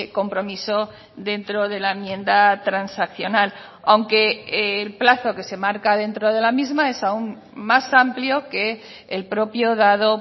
compromiso dentro de la enmienda transaccional aunque el plazo que se marca dentro de la misma es aún más amplio que el propio dado